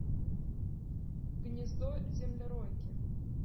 гнездо землеройки